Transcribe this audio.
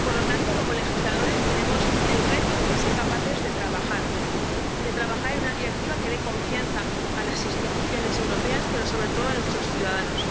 Por lo tanto, como legisladores, tenemos el reto de ser capaces de trabajar en una Directiva que dé confianza a las instituciones europeas, pero, sobre todo, a nuestros ciudadanos.